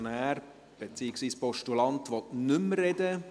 Der Motionär, beziehungsweise Postulant, will nicht mehr sprechen.